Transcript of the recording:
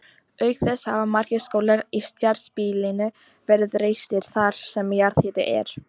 Auk þess hafa margir skólar í strjálbýlinu verið reistir þar sem jarðhiti er.